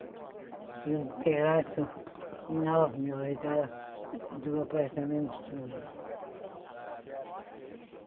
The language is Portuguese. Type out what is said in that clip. Tinha um terraço enorme ao redor do apartamento todo.